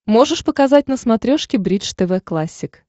можешь показать на смотрешке бридж тв классик